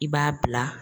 I b'a bila